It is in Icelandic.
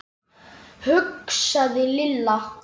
hugsaði Lilla.